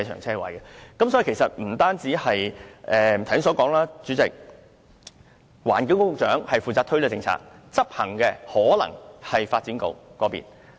所以，正如我剛才所說，主席，環境局局長負責推行這項政策，而執行的可能是發展局。